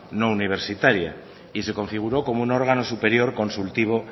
no universitaria y se configuró como un órgano superior consultivo